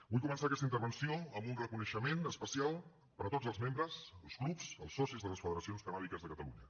vull començar aquesta intervenció amb un reconeixement especial per a tots els membres els clubs els socis de les federacions cannàbiques de catalunya